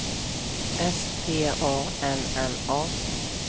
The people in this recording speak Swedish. S T A N N A